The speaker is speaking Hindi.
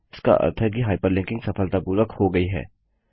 इसका अर्थ है कि हाइपरलिंकिंग सफलतापूर्वक हो गयी है